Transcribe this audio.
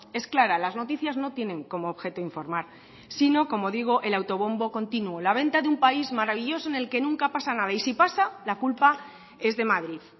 es clara las noticias no tienen como objeto informar sino como digo el autobombo continuo la venta de un país maravilloso en el que nunca pasa nada y si pasa la culpa es de madrid